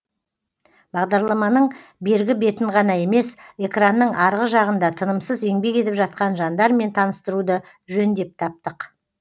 бағдарламаның бергі бетін ғана емес экранның арғы жағында тынымсыз еңбек етіп жатқан жандармен таныстыруды жөн деп таптық